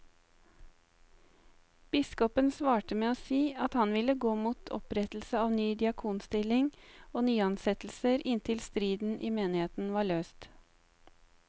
Biskopen svarte med å si at han ville gå mot opprettelse av ny diakonstilling og nyansettelser inntil striden i menigheten var løst.